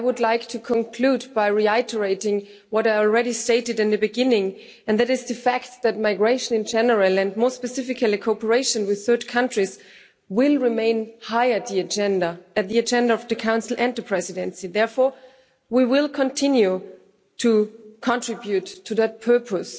I would like to conclude by reiterating what I already stated at the beginning, and that is the fact that migration in general and more specifically cooperation with third countries will remain high on the agenda of the Council and the Presidency. Therefore we will continue to contribute to that purpose.